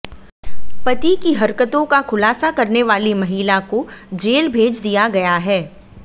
पति की हरकतों का खुलासा करने वाली महिला को जेल भेज दिया गया है